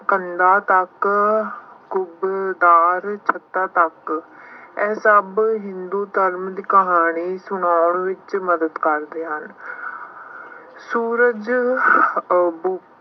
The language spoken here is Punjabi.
ਕੰਨਾਂ ਤੱਕ ਕੁੱਬਦਾਰ ਛੱਤਾਂ ਤੱਕ ਇਹ ਸਭ ਹਿੰਦੂ ਧਰਮ ਦੀ ਕਹਾਣੀ ਸੁਨਾਉਣ ਵਿੱਚ ਮਦਦ ਕਰਦੇ ਹਨ। ਸੂਰਜ